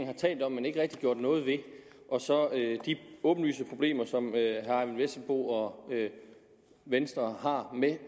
har talt om men ikke rigtig gjort noget ved og så de åbenlyse problemer som herre eyvind vesselbo og venstre har med